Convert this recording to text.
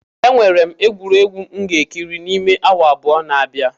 Enwere m egwuregwu m ga-ekiri n'ime awa abụọ na-abia.